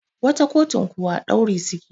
wata kotun kuwa dauri suke